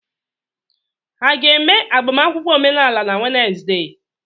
Ha ga-eme agbamakwụkwọ omenala na Wenesde?